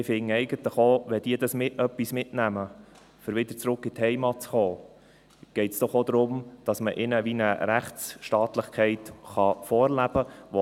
Und ich finde eigentlich auch, wenn sie etwas bei ihrer Rückkehr in ihre Heimat mitnehmen, geht es doch auch darum, dass man ihnen ein wenig Rechtsstaatlichkeit vorleben kann.